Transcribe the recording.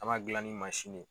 An m'a gilan ni mansin ne